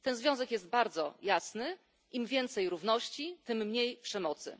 Ten związek jest bardzo jasny im więcej równości, tym mniej przemocy.